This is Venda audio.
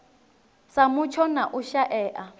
sa mutsho na u shaea